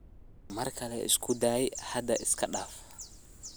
Markale iskudaay hada iskadaaf.